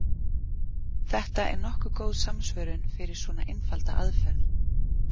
Þetta er nokkuð góð samsvörun fyrir svona einfalda aðferð.